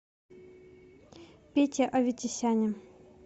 пете аветисяне